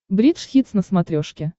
бридж хитс на смотрешке